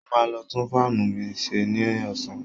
Mo máa lọ tún fáànù mi ṣe ní ọ̀sán